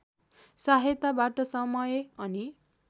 सहायताबाट समय अनि